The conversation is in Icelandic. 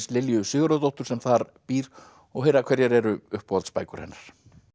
Lilju Sigurðardóttur sem þar býr og heyra hverjar eru uppáhaldsbækur hennar